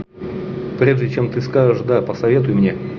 прежде чем ты скажешь да посоветуй мне